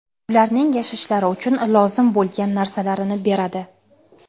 ularning yashashlari uchun lozim bo‘lgan) narsalarini beradi.